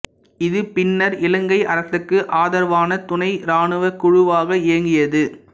இது பின்னர் இலங்கை அரசுக்கு ஆதரவான துணைஇராணுவக் குழுவாக இயங்கியது